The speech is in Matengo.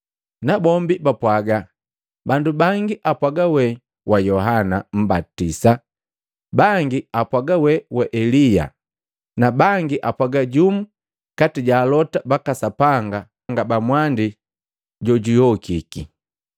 Nabombi bapwaga, “Bandu bangi apwaga we wa Yohana Mmbatisa, bangi apwaga we wa Elia na bangi apwaga jumu kati ja Alota baka Sapanga ba mwandi jojuyokiki.”